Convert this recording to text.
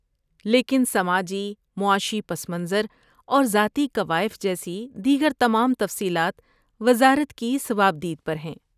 لیکن سماجی معاشی پس منظر اور ذاتی کوائف جیسی دیگر تمام تفصیلات وزارت کی صوابدید پر ہیں۔